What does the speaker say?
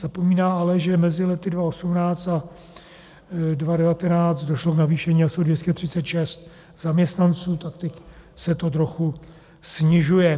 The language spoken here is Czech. Zapomíná ale, že mezi lety 2018 a 2019 došlo k navýšení asi o 236 zaměstnanců, tak teď se to trochu snižuje.